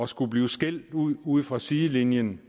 skulle blive skældt ud ude fra sidelinjen